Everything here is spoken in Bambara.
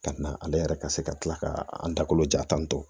Ka na ale yɛrɛ ka se ka tila ka an dakolo ja tan tɔ